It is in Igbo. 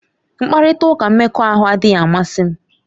Mkparịta ụka mmekọahụ adịghị amasị m.